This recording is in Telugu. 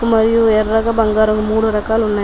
మరియు ఎర్రగా బంగారం మూడు రకాలు ఉన్నాయి.